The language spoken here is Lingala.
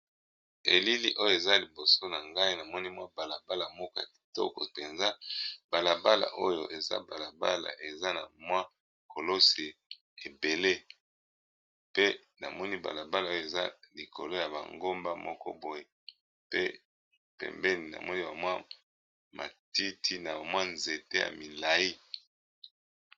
Elili oyo eza liboso na ngai na moni mwa balabala moko ya kitoko mpenza balabala oyo eza balabala eza na mwa kolosi ebele pe na moni balabala oyo eza likolo ya bangomba moko boye pe pembeni na moi mwa matiti na mwa nzete ya milai.